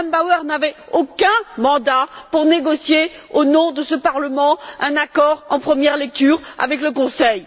M me Bauer n'avait aucun mandat pour négocier, au nom de ce Parlement, un accord en première lecture avec le Conseil.